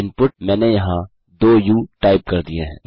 input मैंने यहाँ 2 US type कर दिए हैं